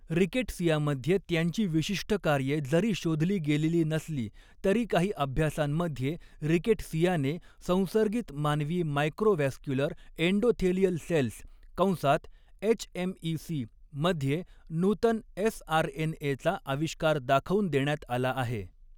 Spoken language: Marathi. रिकेटसियामध्ये त्यांची विशिष्ट कार्ये जरी शोधली गेलेली नसली, तरी काही अभ्यासांमध्ये, रिकेटसियाने संसर्गित मानवी मायक्रोव्हॅस्क्युलर अँडोथेलियल सेल्स कंसात एचएमईसी मध्ये नूतन एसआरएनएचा आविष्कार दाखवून देण्यात आला आहे.